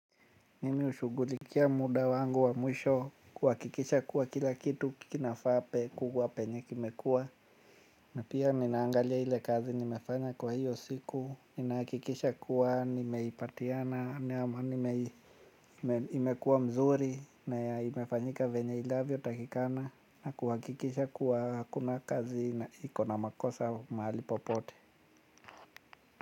Mimi hushughulikia muda wangu wa mwisho kuhakikisha kuwa kila kitu kinafaa kuwa penye kimekua. Na pia ninaangalia ile kazi nimefanya kwa hiyo siku ninahakikisha kuwa nimeipatiana. Imekua mzuri na imefanyika venye inavyotakikana. Na kuhakikisha kuwa hakuna kazi na iko na makosa mahali popote.